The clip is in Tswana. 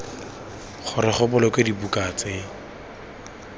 gore go bolokwe dibuka tse